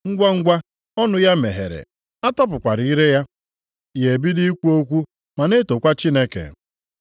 Ngwangwa, ọnụ ya meghere, atọpụkwara ire ya. Ya ebido ikwu okwu ma na-etokwa Chineke.